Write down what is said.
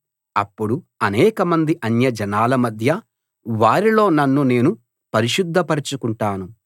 అప్పుడు అనేకమంది అన్యజనాల మధ్య వారిలో నన్ను నేను పరిశుద్ధపరచుకుంటాను